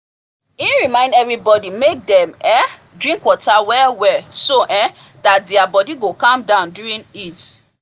he remind everybody make dem um drink water well well so um that their body go calm down during heat